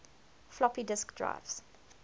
floppy disk drives